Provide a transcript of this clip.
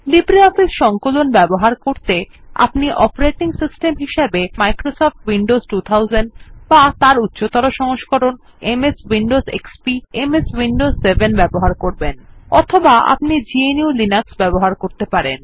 LibreOffice সংকলন ব্যবহার করতে আপনি অপারেটিং সিস্টেম হিসাবে হয় মাইক্রোসফট উইন্ডোজ 2000 বা তার উচ্চতর সংস্করণ অর্থাৎ এমএস উইন্ডোজ এক্সপি বা এমএস উইন্ডোজ 7 ব্যবহার করবেন অথবা আপনি গনুহ লিনাক্স ব্যবহার করতে পারেন